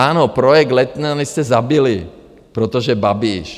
Ano, projekt Letňany jste zabili, protože Babiš.